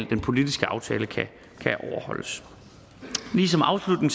den politiske aftale kan overholdes lige som afslutning